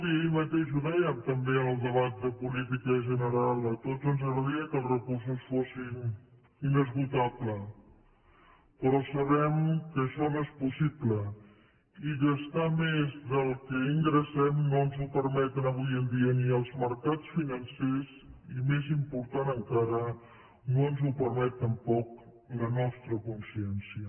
ahir mateix ho dèiem també en el debat de política general a tots ens agradaria que els recursos fossin inesgotables però sabem que això no és possible i gastar més del que ingressem no ens ho permeten avui en dia ni els mercats financers i més important encara no ens ho permet tampoc la nostra consciència